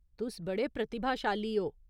तुस बड़े प्रतिभाशाली ओ।